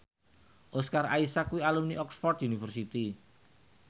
Oscar Isaac kuwi alumni Oxford university